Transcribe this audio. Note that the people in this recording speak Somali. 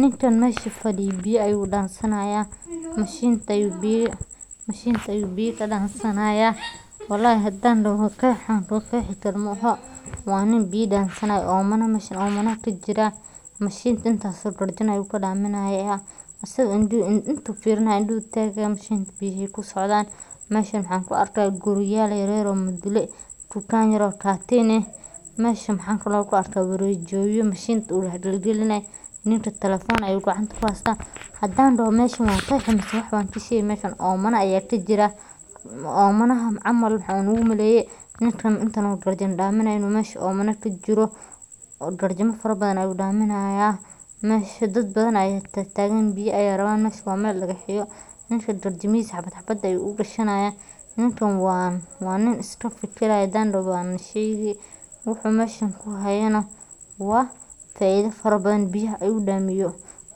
Nikan masha fadiyoh biyo ayu dansanaya, mashinta ayu biya mashinta ayu biya ka dansanahaya, walhi hadan daho qada wax an qaxikaro mahan waa nin biya dansanahayo, mashan oo mana ka jirah, mashintas intas oo garjan ayu ka damiya intu ayu firanahay indah ayu tagahaya mashinta biyaha aya ku socdan, mashan waxan ku argahay guuriyal yar yar oo madula tugan yar gatin ah masha wax kle ku argahaya qawjiyo oo mashinta ugalina, ninka talafon ayu gacanta ku hastah hadan daho masha wan xaqi mashan oo mana aya ka jira oo mana han camal waxan umalaya ninka inta oo garjan daminayoh inu mashan oomana ka jiro oo garjamo farbadan daminaya, masha dad badan aya tag tagan biya ayay raban masha wa mal dagahya ninka garjamihisa hab hab ayu ugashanahaya, ninka waa nin iska filaya hadan daxo wan shegi wuxu masha ku hayo nah, waa faido farbadan biyaha ayu daminayo,